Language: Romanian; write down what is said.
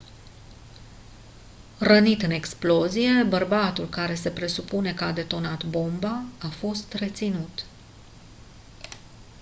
rănit în explozie bărbatul care se presupune că a detonat bomba a fost reținut